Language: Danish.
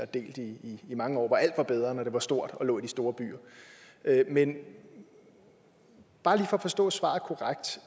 delt i mange år hvor alt var bedre når det var stort og lå i de store byer men bare lige for at forstå svaret korrekt